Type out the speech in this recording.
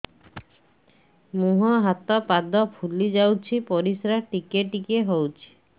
ମୁହଁ ହାତ ପାଦ ଫୁଲି ଯାଉଛି ପରିସ୍ରା ଟିକେ ଟିକେ ହଉଛି